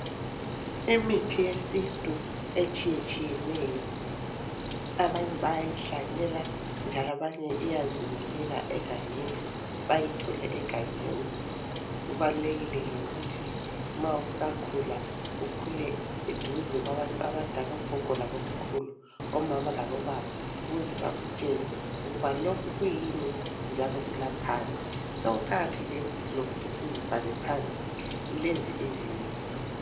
Imithi yeSintu etshiyetshiyeneyo ,abanye bayayihlanyela ,njalo abanye iyazimilela egangeni bayithole egangeni kubalulekile ke ukuthi ma usakhula ukhule , duze kwabantu abadala oGogo laboMkhulu ,oMama laboBaba ukuze bakutshele ukuba lokhu kuyini njalo kulaphani, sokuqakathekile futhi lokuthi sizibhale phansi ,lezi izinto